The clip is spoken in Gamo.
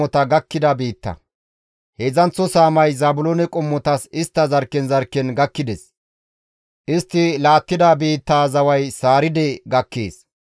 Heedzdzanththo saamay Zaabiloone qommotas istta zarkken zarkken gakkides. Istti laattida biittaa zaway Sariide gakkees.